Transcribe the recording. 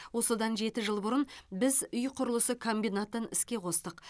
осыдан жеті жыл бұрын біз үй құрылысы комбинатын іске қостық